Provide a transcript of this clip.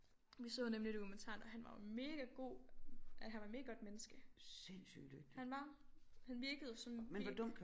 Vi så nemlig dokumentaren og han var jo mega god at han var et mega godt menneske han var han virkede sådan helt